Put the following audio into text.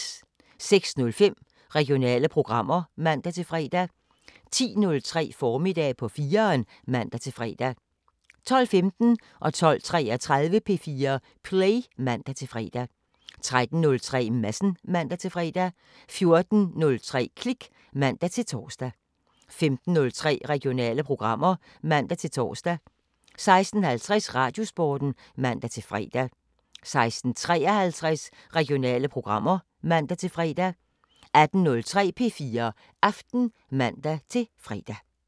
06:05: Regionale programmer (man-fre) 10:03: Formiddag på 4'eren (man-fre) 12:15: P4 Play (man-fre) 12:33: P4 Play (man-fre) 13:03: Madsen (man-fre) 14:03: Klik (man-tor) 15:03: Regionale programmer (man-tor) 16:50: Radiosporten (man-fre) 16:53: Regionale programmer (man-fre) 18:03: P4 Aften (man-fre)